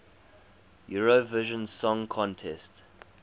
eurovision song contest